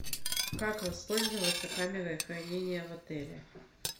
как воспользоваться камерой хранения в отеле